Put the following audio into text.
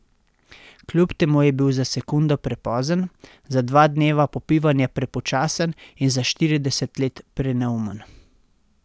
Kljub temu je bil za sekundo prepozen, za dva dneva popivanja prepočasen in za štirideset let preneumen.